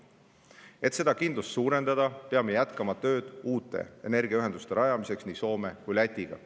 Et seda kindlust suurendada, peame jätkama tööd uute energiaühenduste rajamiseks nii Soome kui ka Lätiga.